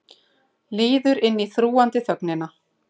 Líður inn í þrúgandi þögnina.